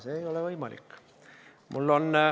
See ei ole võimalik.